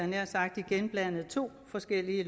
nær sagt igen blandet to forskellige